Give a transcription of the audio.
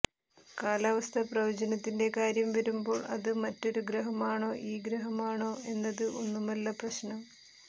കാലാവസ്ഥാ പ്രവചനത്തിന്റെ കാര്യം വരുമ്പോൾ അത് മറ്റൊരു ഗ്രഹമാണോ ഈ ഗ്രഹമാണോ എന്നത് ഒന്നുമല്ല പ്രശ്നം